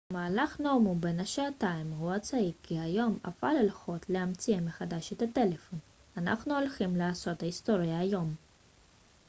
במהלך נאומו בן השעתיים הוא הצהיר כי היום אפל הולכת להמציא מחדש את הטלפון אנחנו הולכים לעשות היסטוריה היום